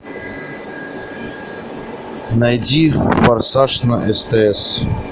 найди форсаж на стс